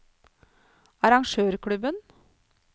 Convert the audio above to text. arrangørklubben